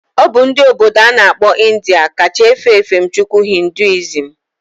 Obu ndi obodo ana akpo India ka cha efe efemchukwu hinduism